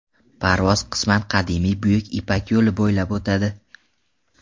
Parvoz qisman qadimiy Buyuk ipak yo‘li bo‘ylab o‘tadi.